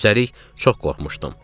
Üstəlik çox qorxmuşdum.